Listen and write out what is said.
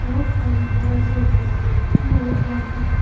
बहोत बड़ी खबर देवता के। बहोत ।